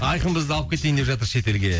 айқын бізді алып кетейін деп жатыр шетелге